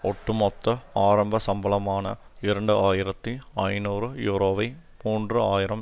ஒட்டுமொத்த ஆரம்ப சம்பளமான இரண்டு ஆயிரத்தி ஐநூறு யூரோவை மூன்று ஆயிரம்